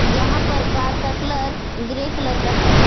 जहां पर कार का कलर ग्रे कलर का है।